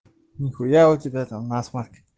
нехуя у тебя там насмарк